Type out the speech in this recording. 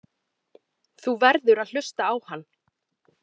Þú verður að hlusta á hann.